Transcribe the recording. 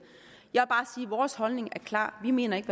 jeg at vores holdning er klar vi mener ikke